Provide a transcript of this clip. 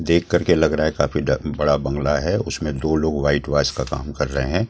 देख कर के लग रहा है काफी बड़ा बंगला है उसमें दो लोग वाइट वाश का काम कर रहे हैं।